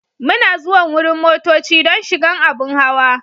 Muna zuwan wurin motocci don shigan abun hawa.